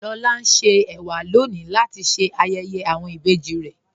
Lọlá ń ṣè èwà lọ́ní latí ṣé ayéyé awọn ìbéjì rè.